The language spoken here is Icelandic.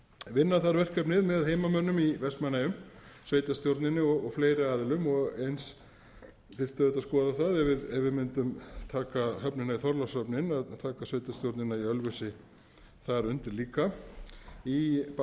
vinna þarf verkefnið með heimamönnum í vestmannaeyjum sveitarstjórninni og fleiri aðilum eins þyrfti auðvitað að skoða það ef við mundum taka höfnina í þorlákshöfn inn að taka sveitarstjórnina í ölfusi þar undir líka á báðum þessum